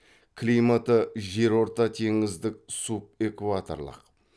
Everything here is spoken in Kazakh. климаты жерортатеңіздік субэкваторлық